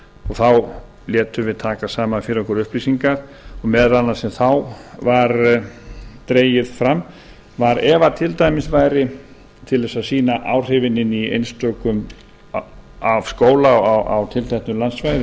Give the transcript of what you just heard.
þá létum við taka saman fyrir okkur upplýsingar og meðal annars sem þá var dregið fram til þess að sýna áhrifin af skóla á tilteknu landsvæði